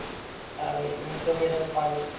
अरे, मी तर पहिल्यांदा